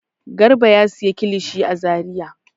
Garba ya sayi kilishi a Zariya.